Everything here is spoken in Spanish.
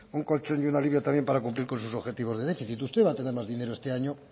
un colchón y un alivio también para cumplir con sus objetivos de déficit usted va a tener más dinero este año